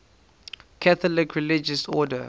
catholic religious order